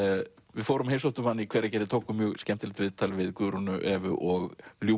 við heimsóttum hana í Hveragerði tókum mjög skemmtilegt viðtal við Guðrúnu Evu og